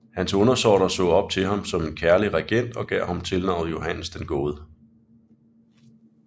Hans undersåtter så op til ham som en kærlig regent og gav ham tilnavnet Johannes den gode